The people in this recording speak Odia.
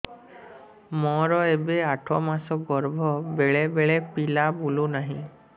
ମୋର ଏବେ ଆଠ ମାସ ଗର୍ଭ ବେଳେ ବେଳେ ପିଲା ବୁଲୁ ନାହିଁ